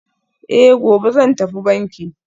Eh, gobe zan tafi banki